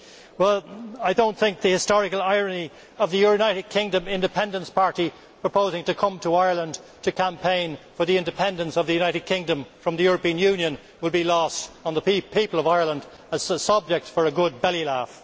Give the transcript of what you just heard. Well, I do not think the historical irony of the United Kingdom Independence Party proposing to come to Ireland to campaign for the independence of the United Kingdom from the European Union will be lost on the people of Ireland as a subject for a good belly laugh.